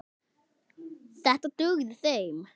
Þetta dugði þeim.